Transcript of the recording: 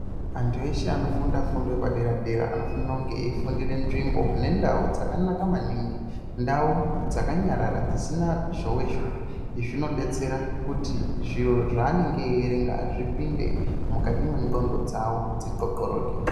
Vantu eshe anofunda fundo yepadera dera, anofanire kunge eyifundira munzvimbo nendau dzakanaka maningi. Ndau dzakanyarara dzisina zhowe zhowe. Izvi zvinobetsera kuti zviro zvanenge eyerenga zvipinde mukati mengxondo dzavo, dzixoxoroke.